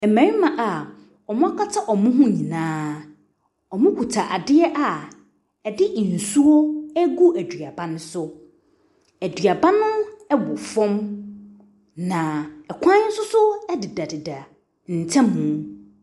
Mmarima ɔmɔ akata wɔn hɔ nyinaa ɔmɔ kuta adeɛ a ɛdi nsuo gu aduaba no so aduaba no wɔ fom na ɛkwan nso deda nteamu.